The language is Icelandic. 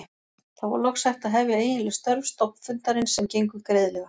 Þá var loks hægt að hefja eiginleg störf stofnfundarins sem gengu greiðlega.